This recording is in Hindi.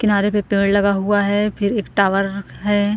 किनारे पे पेड़ लगा हुआ है फिर एक टावर हैं।